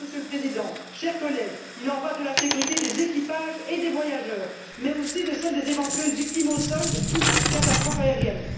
Alors, Monsieur le Président, chers collègues, il en va de la sécurité des équipages et des voyageurs, mais aussi de celle des éventuelles victimes au sol de toute catastrophe aérienne.